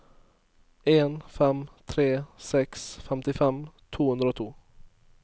en fem tre seks femtifem to hundre og to